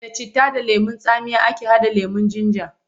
Da citta da lemon tsami ake haɗa lemon jinja.